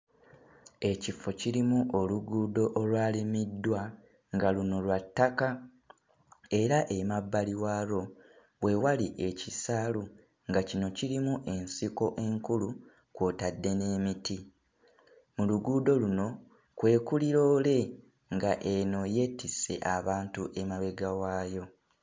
Ekifo kirimu oluguudo olwalimiddwa nga luno lwa ttaka era emabbali waalwo we wali ekisaalu nga kino kirimu ensiko enkulu kw'otadde n'emiti. Mu luguudo luno kwe kuli loole nga eno yeetisse abantu emabega waayo.